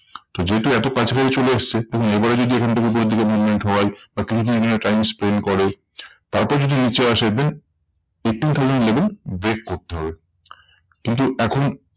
তো যেহেতু এত কাছাকাছি চলে এসেছে দেখুন এবারে যদি এখন থেকে উপরের দিকে movement হয় বা কিছুদিন এখানে time spend করে তারপর যদি নিচে আসে then eighteen thousand level break করতে হবে। কিন্তু এখন